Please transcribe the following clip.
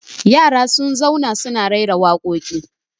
yara sun zauna suna rera waƙoƙi